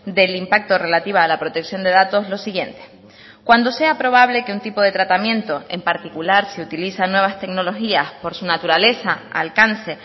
del impacto relativa a la protección de datos lo siguiente cuando sea probable que un tipo de tratamiento en particular se utilizan nuevas tecnologías por su naturaleza alcance